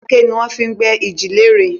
Aké ni wọ́n fi n gbé iji lere